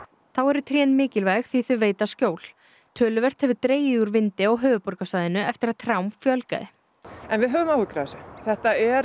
þá eru trén mikilvæg því þau veita skjól töluvert hefur dregið úr vindi á höfuðborgarsvæðinu eftir að trjám fjölgaði við höfum áhyggjur af þessu þetta er